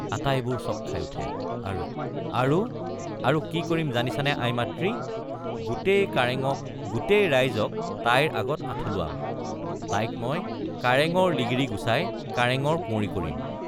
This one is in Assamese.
আটাইবোৰ চকখাই উঠে আৰু—আৰু কি কৰিম জানিছানে আই মাতৃ—গোটেই কাৰেঙক গোটেই ৰাইজক তাইৰ আগত আঁঠু লোৱাম—তাইক মই কাৰেঙৰ লিগিৰি গুচাই কাৰেঙৰ কুঁৱৰী কৰিম।